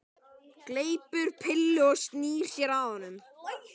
Gleypir pillu og snýr sér að honum.